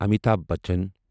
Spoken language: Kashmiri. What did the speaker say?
امیتابھ بچن